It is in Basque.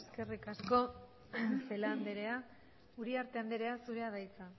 eskerrik asko celaá andrea uriarte andrea zurea da hitza